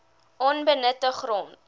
onbenutte grond